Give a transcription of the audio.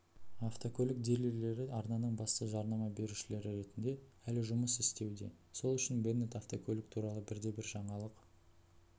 автокөлік дилерлері арнаның басты жарнама берушілері ретінде әлі жұмыс істеуде сол үшін беннет автокөлік туралы бірде бір жаңалық